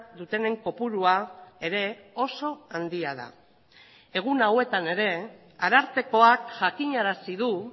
dutenen kopurua ere oso handia da egun hauetan ere arartekoak jakinarazi du